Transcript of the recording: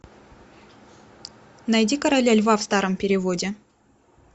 найди короля льва в старом переводе